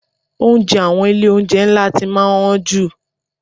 Oúnjẹ àwọn ilé oúnjẹ ńlá ti máa ń han jù.